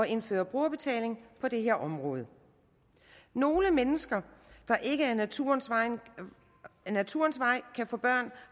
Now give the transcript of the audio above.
indføre brugerbetaling på det her område nogle mennesker der ikke af naturens vej naturens vej kan få børn